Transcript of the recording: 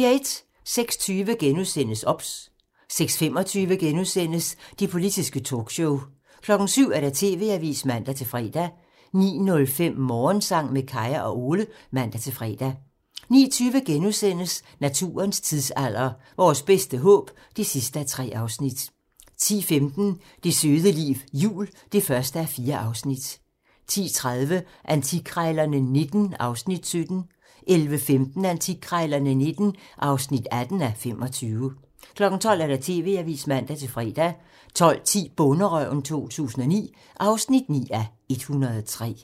06:20: OBS *(man) 06:25: Det politiske talkshow *(man) 07:00: TV-avisen (man-fre) 09:05: Morgensang med Kaya og Ole (man-fre) 09:20: Naturens tidsalder - Vores bedste håb (3:3)* 10:15: Det søde liv jul (1:4) 10:30: Antikkrejlerne XIX (17:25) 11:15: Antikkrejlerne XIX (18:25) 12:00: TV-avisen (man-fre) 12:10: Bonderøven 2009 (9:103)